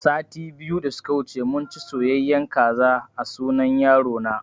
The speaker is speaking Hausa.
Sati biyu da suka wuce munci soyayen kaza a sunan yaro na